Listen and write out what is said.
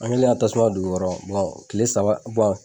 An kɛlen ka tasuma don u kɔrɔ kile saba